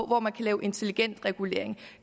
hvor man kan lave intelligent regulering